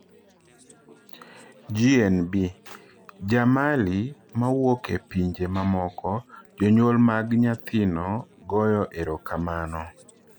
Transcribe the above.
GNB: Ja Mali ma wuok e pinje mamoko, jonyuol mag nyathino goyo erokamano